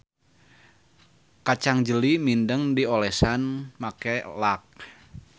Kacang jeli mindeng diolesan make lak.